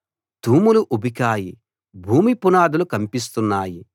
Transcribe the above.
తూములు ఉబికాయి భూమి పునాదులు కంపిస్తున్నాయి